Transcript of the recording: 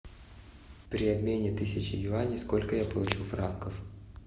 при обмене тысячи юаней сколько я получу франков